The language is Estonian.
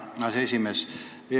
Aitäh, härra aseesimees!